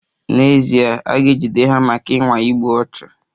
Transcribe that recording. N'ezie, a ga-ejide ha maka ịnwa igbu ọchụ.